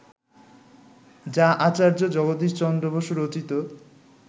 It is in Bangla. যা আচার্য জগদীশ চন্দ্র বসু রচিত